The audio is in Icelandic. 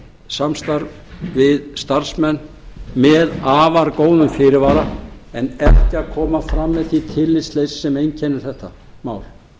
samstarf við starfsmenn með afar góðum fyrirvara en ekki að koma fram með því tillitsleysi sem einkennir þetta mál